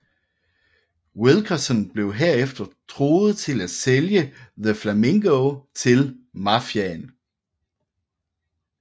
Wilkerson blev herefter truet til at sælge The Flamingo til mafiaen